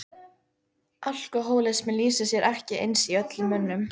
Alkohólismi lýsir sér ekki eins í öllum mönnum.